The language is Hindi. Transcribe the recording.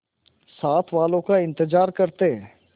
साथ वालों का इंतजार करते